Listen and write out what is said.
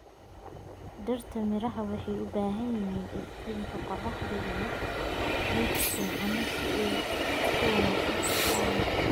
Dhirta miraha waxay u baahan yihiin iftiinka qorraxda iyo ciid fiican si ay si wanaagsan u koraan.